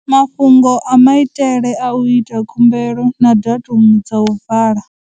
Mafhungo a maitele a u ita khumbelo na datumu dza u vala.